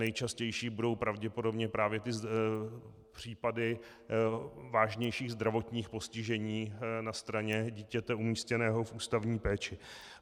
Nejčastější budou pravděpodobně právě ty případy vážnějších zdravotních postižení na straně dítěte umístěného v ústavní péči.